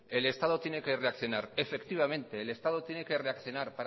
que el estado tiene que reaccionar efectivamente el estado tiene que reaccionar